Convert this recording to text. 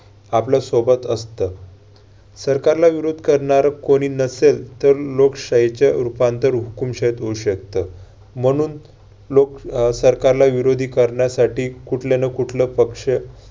आपल्या सोबत असतं. सरकारला विरोध करणारं कोणी नसेल तर लोकशाही चं रूपांतर हुकूमशाहीत होऊ शकतं. म्हणून लोक अह सरकारला विरोधी करण्यासाठी कुठल्या-नं-कुठलं पक्ष